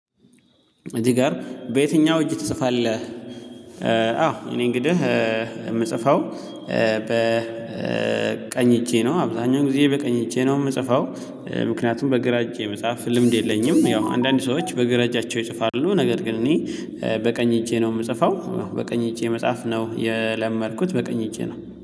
እዚህ ጋር በየትኛው እጅ ትጽፋለህ? አዎ እኔ እንግዲህ የምጽፈው በቀኝ እጄ ነው። አብዛኛው ጊዜ በቀኝ እጄ ነው የምጽፈው። ምክንያቱም በግራ እጄ መጽሐፍ ልምድ የለኝም። ያው አንዳንድ ሰዎች በግራ እጃቸው ይጽፋሉ ነገር ግን እኔ በቀኝ እጄ ነው። የምጽፈው በቀኝ እጄ መጽሐፍ ነው የለመድኩት በቀኝ እጄ ነው